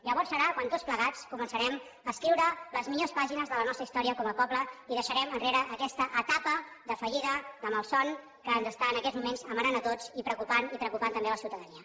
llavors serà quan tots plegats començarem a escriure les millors pàgines de la nostra història com a poble i deixarem enrere aquesta etapa de fallida de malson que ens està en aquests moments amarant a tots i preocupant i que preocupa també la ciutadania